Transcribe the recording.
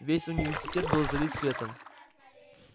весь университет был залит светом